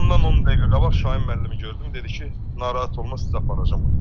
Amma ondan 10 dəqiqə qabaq Şahin müəllimi gördüm, dedi ki, narahat olma, sizi aparacam ora.